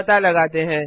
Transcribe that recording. पता लगाते हैं